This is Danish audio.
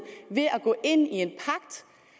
ved at gå ind i at